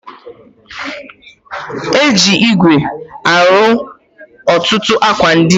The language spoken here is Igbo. E ji igwe arụ ọtụtụ akwa ndịna